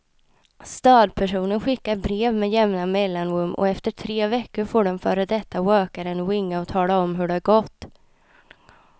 Stödpersonen skickar brev med jämna mellanrum och efter tre veckor får den före detta rökaren ringa och tala om hur det gått.